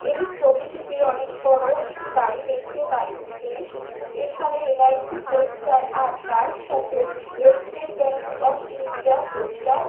এই ছবিটিতে একটি অনেক বড়ো একটি বাড়ি দেখতে পাচ্ছি এখানে এল.আই.সি. পোস্টার আর তার সাথে এস্টেট ব্যাঙ্ক অফ ইন্ডিয়ার পোস্টার--